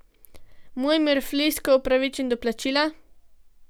Mojmir Flisko upravičen do plačila?